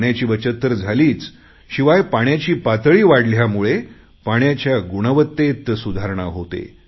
पाण्याची बचत तर झालीच शिवाय पाण्याची पातळी वाढल्यामुळे पाण्याच्या गुणवत्तेत सुधारणा होते